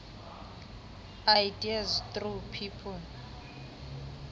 ideas through people